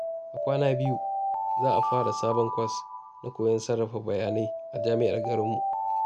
A kwana biyu, za a fara sabon kwas na koyon sarrafa bayanai a jami’ar garinmu.